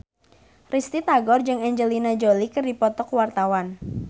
Risty Tagor jeung Angelina Jolie keur dipoto ku wartawan